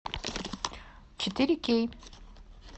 четыре кей